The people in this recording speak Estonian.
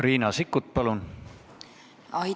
Riina Sikkut, palun!